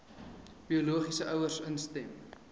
biologiese ouers instem